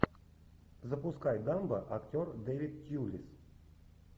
запускай дамбо актер дэвид тьюлис